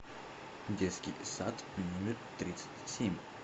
детский сад номер тридцать семь